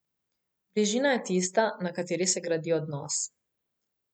Bližina je tista, na kateri se gradi odnos.